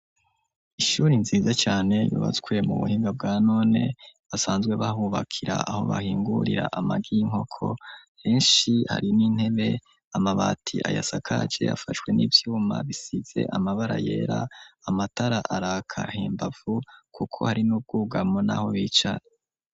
Ishuri, nziza cane, yubatswe mu buhinga, bwa none, basanzwe bahubakira, aho bahingurira, amagi y'inkoko; henshi hari n'intebe, amabati ayasakaje, afashwe n'ivyuma, bisize amabara yera; amatara araka hembavu, kuko hari n'ubwugamo, n'aho bicara.